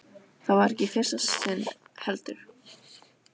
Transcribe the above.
Það var ekki í fyrsta sinn, heldur.